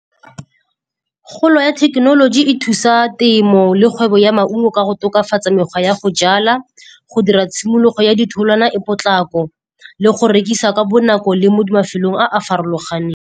Golo ya thekenoloji e thusa temo le kgwebo ya maungo ka go tokafatsa mekgwa ya go jala, go dira tshimologo ya ditholwana e potlako le go rekisa ka bonako, le mo mafelong a a farologaneng.